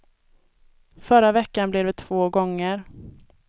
Förra veckan blev det två gånger.